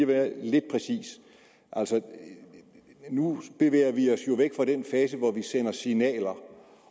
være lidt præcis nu bevæger vi os jo væk fra den fase hvor vi sender signaler